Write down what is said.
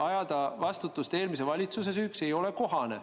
Ajada see eelmise valitsuse süüks ei ole kohane.